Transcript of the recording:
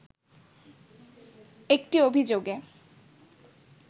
একটি অভিযোগে